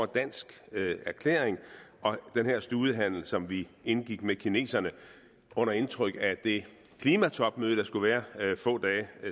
danske erklæring og den her studehandel som vi indgik med kineserne under indtryk af det klimatopmøde der skulle være få dage